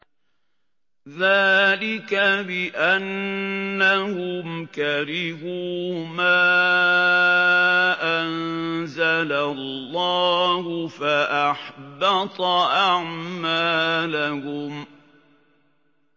ذَٰلِكَ بِأَنَّهُمْ كَرِهُوا مَا أَنزَلَ اللَّهُ فَأَحْبَطَ أَعْمَالَهُمْ